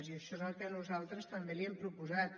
i això és el que nosaltres també li hem proposat